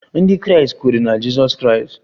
Ndị Kraịst kweere na Jizọs Kraịst